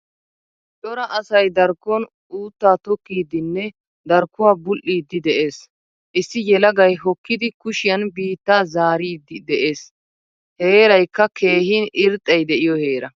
Cora asay darkkon utta tokkidinnne darkkuwaa bul'idi de'ees. Issi yelagay hokkidi kushiyan biittaa zaaridi de'ees. Heeraykka keehin irxxay de'iyo heera.